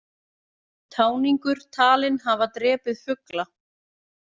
Táningur talinn hafa drepið fugla